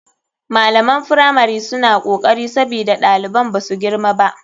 Malaman firamari suna kokari sabida ɗaliban basu girma ba.